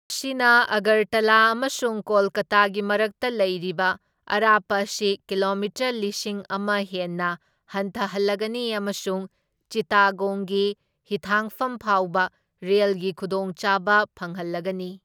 ꯃꯁꯤꯅ ꯑꯒꯔꯇꯂꯥ ꯑꯃꯁꯨꯡ ꯀꯣꯜꯀꯥꯇꯥꯒꯤ ꯃꯔꯛꯇ ꯂꯩꯔꯤꯕ ꯑꯔꯥꯞꯄ ꯑꯁꯤ ꯀꯤꯂꯣꯃꯤꯇꯔ ꯂꯤꯁꯤꯡ ꯑꯃ ꯍꯦꯟꯅ ꯍꯟꯊꯍꯜꯂꯒꯅꯤ ꯑꯃꯁꯨꯡ ꯆꯤꯠꯇꯥꯒꯣꯡꯒꯤ ꯍꯤꯊꯥꯡꯐꯝ ꯐꯥꯎꯕ ꯔꯦꯜꯒꯤ ꯈꯨꯗꯣꯡꯆꯥꯕ ꯐꯪꯍꯜꯂꯒꯅꯤ꯫